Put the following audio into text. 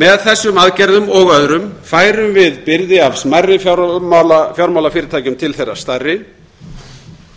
með þessum aðgerðum og öðrum færum bið byrði af smærri fjármálafyrirtækjum til þeirra smærri